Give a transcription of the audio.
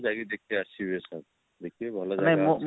ଯାଇକିରି ଦେଖିକି ଆସିବେ sir ଦେଖିବେ ଭଲ ଜାଗା ଅଛି